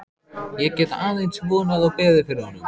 Ég get aðeins vonað og beðið fyrir honum.